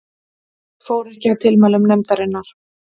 Fór ekki að tilmælum nefndarinnar